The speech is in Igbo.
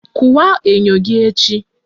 Kụwaa enyo gị echi!